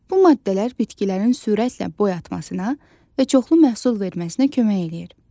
Bu maddələr bitkilərin sürətlə boyatmasına və çoxlu məhsul verməsinə kömək eləyir.